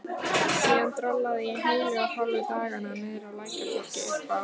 Síðan drollaði ég heilu og hálfu dagana niðrá Lækjartorgi, uppá